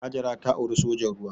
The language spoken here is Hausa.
Hajara ta auri sojan ruwa.